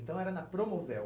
Então era na Promovel.